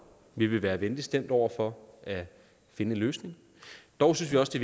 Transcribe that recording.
vi vil være venligt stemt over for at finde en løsning dog synes vi også det